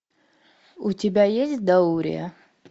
у тебя есть даурия